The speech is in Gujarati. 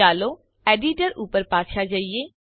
ચાલો એડિટર ઉપર પાછા જઈએ